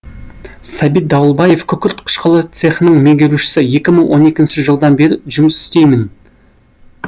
сәбит дауылбаев күкірт қышқылы цехының меңгерушісі екі мың он екінші жылдан бері жұмыс істеймін